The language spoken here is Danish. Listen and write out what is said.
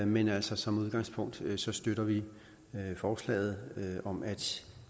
men altså som udgangspunkt støtter vi forslaget om at